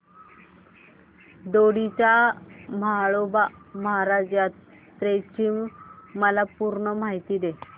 दोडी च्या म्हाळोबा महाराज यात्रेची मला पूर्ण माहिती दे